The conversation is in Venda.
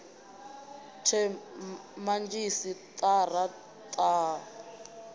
the madzhisi tara ta a